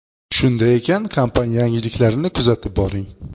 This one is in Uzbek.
Shunday ekan, kompaniya yangiliklarini kuzatib boring!